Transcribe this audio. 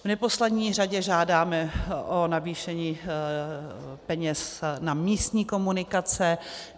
V neposlední řadě žádáme o navýšení peněz na místní komunikace.